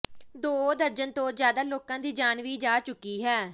ਦੋ ਦਰਜਨ ਤੋਂ ਜ਼ਿਆਦਾ ਲੋਕਾਂ ਦੀ ਜਾਨ ਵੀ ਜਾ ਚੁੱਕੀ ਹੈ